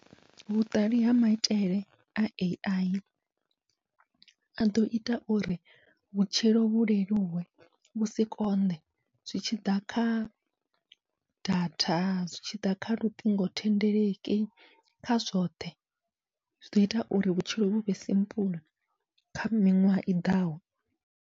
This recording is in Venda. Vhuṱali ha maitele a AI aḓo ita uri vhutshilo vhu leluwe vhusi konḓe, zwi tshiḓa kha datha zwi tshiḓa kha luṱingothendeleki kha zwoṱhe, zwiḓo ita uri vhutshilo vhuvhe simple kha miṅwaha i ḓaho.